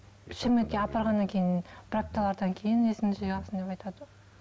шымкентке апарғаннан кейін бір апталардан кейін есіңді жиғансың деп айтыватыр